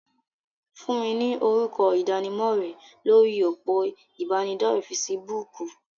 Fún mi ni orúkọ ìdánimọ̀ rẹ lórí òpó ìbánidọ́rẹ̀ fesibúùkù.!